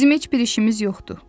Bizim heç bir işimiz yoxdu.